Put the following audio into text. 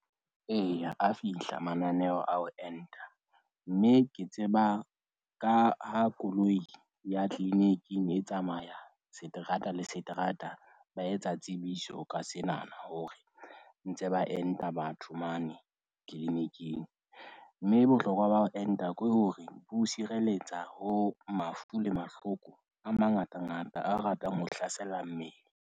Eya, a fihla mananeo a ho enta. Mme ke tseba ka ha koloi ya clinic-ing e tsamaya seterata le seterata. Ba etsa tsebiso ka senana hore ntse ba enta batho mane clinic-ing. Mme bohlokwa ba ho enta ko hore bo o sireletsa ho mafu le mahloko a mangatangata a ratang ho hlasela mmele.